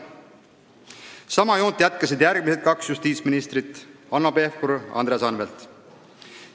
Sama suunda jätkasid järgmised kaks justiitsministrit Hanno Pevkur ja Andres Anvelt.